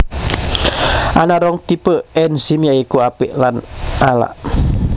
Ana rong tipe ènzim ya iku apik lan ala